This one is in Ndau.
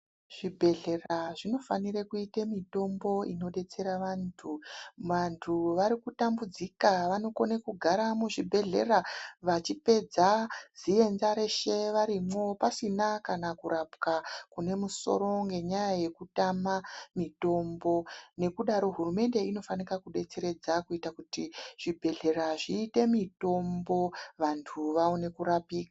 Zvibhedhlera zvinofanire kuite mitombo inodetsera vantu. Vantu varikutambudzika vanokone kugara muzvibhedhlera vachipedza nziyenza reshe varimo pasina kana kurapwa kunemusoro ngenyaya yekutama mitombo. Nekudaro hurumende inofanika kubetseredza kuitira kuti zvibhedhlera zvite mitombo vantu vawane kurapiwa.